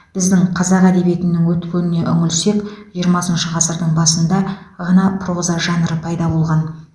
біздің қазақ әдебиетінің өткеніне үңілсек жиырмасыншы ғасырдың басында ғана проза жанры пайда болған